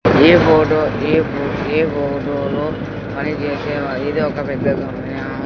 ఈ ఫోటో ఈ ఫో ఈ ఫోటోలో పనిచేసే ఇది ఒక .